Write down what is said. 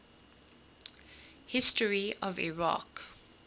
history of iraq